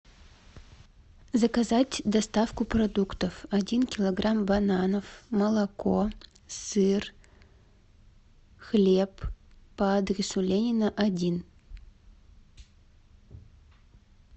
заказать доставку продуктов один килограмм бананов молоко сыр хлеб по адресу ленина один